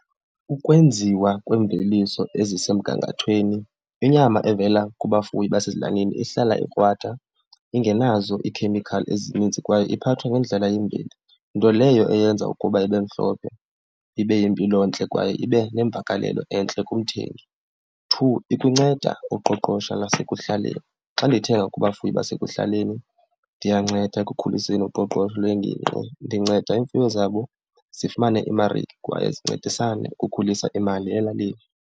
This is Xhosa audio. Ukwenziwa kweemveliso ezisemgangathweni, inyama evela kubafuyi basezilalini ihlala ikrwada ingenazo ikhemikhali ezininzi kwaye iphathwa ngendlela yemveli, nto leyo eyenza ukuba ibe mhlophe, ibe yimpilo ntle kwaye ibe nemvakalelo entle kumthengi. Two, ikunceda uqoqosho lasekuhlaleni. Xa ndithenga kubafuyi basekuhlaleni ndiyanceda ekukhuliseni uqoqosho lwengingqi, ndinceda iimfuyo zabo zifumane iimarike kwaye zincedisane ukukhulisa imali elalini.